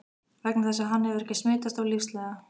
Vegna þess að hann hefur ekki smitast af lífsleiða.